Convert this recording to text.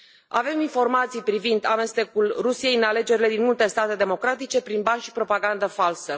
Avem informații privind amestecul Rusiei în alegerile din multe state democratice prin bani și propagandă falsă.